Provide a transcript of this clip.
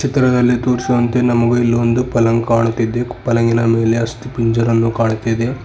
ಚಿತ್ರದಲ್ಲಿ ತೋರಿಸಿದಂತೆ ನಮಗೆ ಇಲ್ಲಿ ಒಂದು ಪಲಂಗ್ ಕಾಣುತ್ತಿದೆ ಪಲಂಗಿನ ಮೇಲೆ ಅಸ್ತಿಪಂಜರವನ್ನು ಕಾಣುತ್ತಿದೆ.